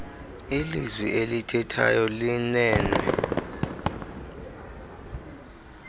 ilizwi elithethwayo linen